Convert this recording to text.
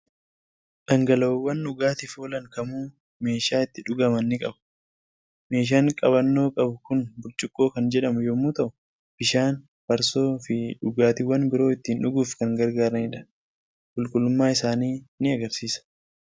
Dhangala'oowwan dhugaatiif oolan kamuu meeshaa itti dhugaman ni qabu! Meeshaan qabannoo qabu kun burcuqqoo kan jedhamu yommuu ta'u, bishaan, farsoo, fi dhugaatiiwwan biroo ittiin dhuguuf kan gargaaranidha. Qulqullummaa isaanii ni argisiisa.